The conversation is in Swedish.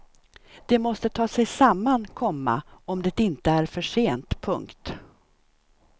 De måste ta sig samman, komma om det inte är för sent. punkt